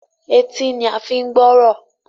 Etí ní a fín gbọrọ.